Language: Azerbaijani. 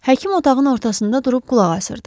Həkim otağın ortasında durub qulaq asırdı.